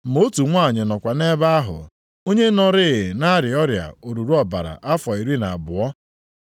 Ma otu nwanyị nọkwa nʼebe ahụ, onye nọrịị na-arịa ọrịa oruru ọbara afọ iri na abụọ.